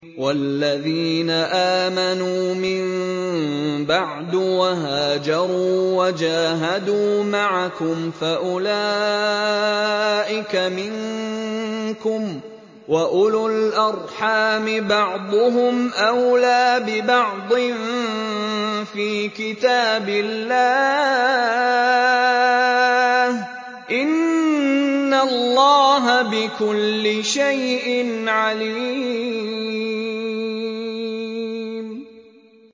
وَالَّذِينَ آمَنُوا مِن بَعْدُ وَهَاجَرُوا وَجَاهَدُوا مَعَكُمْ فَأُولَٰئِكَ مِنكُمْ ۚ وَأُولُو الْأَرْحَامِ بَعْضُهُمْ أَوْلَىٰ بِبَعْضٍ فِي كِتَابِ اللَّهِ ۗ إِنَّ اللَّهَ بِكُلِّ شَيْءٍ عَلِيمٌ